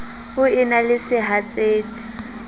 o e na le sehatsetsi